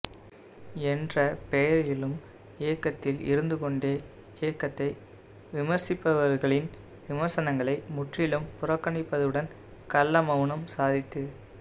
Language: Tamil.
என்ற பெயரிலும் இயக்கத்தில் இருந்துக்கொண்டே இயக்கத்தை விமர்சிப்பவர்களின் விமர்சனங்களை முற்றிலும் புறக்கணிப்பதுடன் கள்ளமவுனம் சாதித்து